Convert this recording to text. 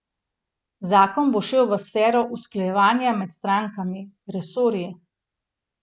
Zakon bo šel v sfero usklajevanja med strankami, resorji.